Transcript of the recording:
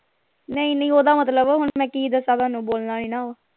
ਨਹੀਂ ਨਹੀਂ ਓਹਦਾ ਮਤਲਬ ਹੁਣ ਕਿ ਦੱਸਾਂ ਥੋਨੂੰ ਬੋਲਣਾ ਨਹੀਂ ਨਾ